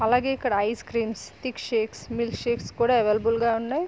అలాగే ఇక్కడ ice cream thick shakes milk shakes కూడా అవైలబుల్ గా ఉన్నాయి.